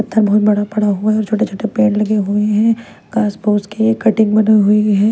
पत्थर बहुत बड़ा पड़ा हुआ है और छोटे-छोटे पेड़ लगे हुए हैं घास फूस के कटिंग बनी हुई है।